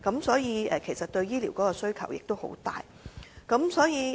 所以，對香港醫療的需求亦很大。